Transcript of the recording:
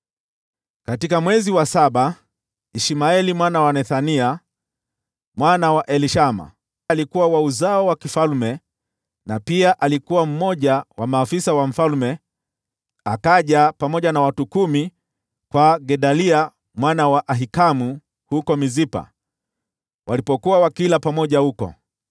Katika mwezi wa saba Ishmaeli mwana wa Nethania mwana wa Elishama, aliyekuwa wa uzao wa mfalme na pia alikuwa mmoja wa maafisa wa mfalme, akaja pamoja na watu kumi kwa Gedalia mwana wa Ahikamu huko Mispa. Walipokuwa wakila pamoja huko,